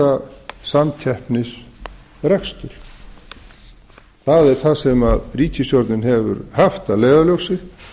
að stunda samkeppnisrekstur það er það sem ríkisstjórnin hefur haft að leiðarljósi